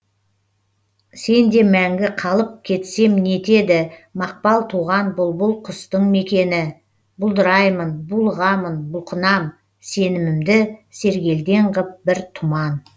сенде мәңгі қалып кетсем не етеді мақпал туған бұлбұл құстың мекені бұлдыраймын булығамын бұлқынам сенімімді сергелдең ғып бір тұман